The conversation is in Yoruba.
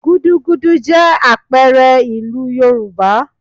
Gúdúgúdú jẹ́ àpẹẹrẹ ìlú Yorùbá